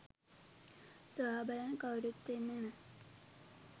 සොයා බලන්න කවුරුත් එන්නේ නෑ